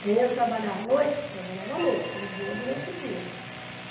Quem ia trabalhar à noite, trabalhava à noite, não vinha durante o dia.